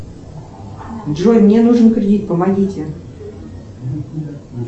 джой мне нужен кредит помогите